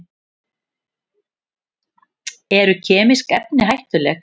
Eru kemísk efni hættuleg?